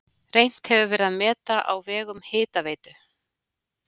Reynt hefur verið að meta á vegum Hitaveitu